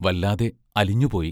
വല്ലാതെ അലിഞ്ഞുപോയി.